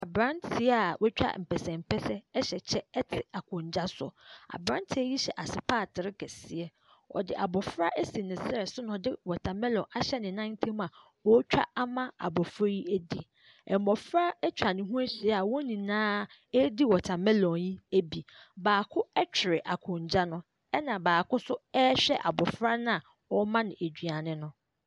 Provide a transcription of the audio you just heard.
Abranteɛ a watwa mpɛsɛmpɛsɛ hyɛ kyɛ te akondwa so. Abranteɛ yi hyɛ asopaatre kɛseɛ. Ↄde abɔfra asi ne serɛ so na ɔde watr mellon ahyɛ ne nan ntam a ɔretwa ama abɔfra yi adi. Mmɔfra atwa ne ho ahyia a wɔn nyinaa redi water mellon yi bi. Baako twere akondwa no ɛna baako nso rehwɛ abɔfra no a ɔrema no aduane no.